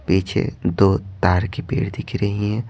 पीछे दो तार की पेड़ दिख रही हैं।